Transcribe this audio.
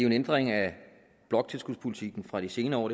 en ændring af bloktilskudspolitikken fra de senere år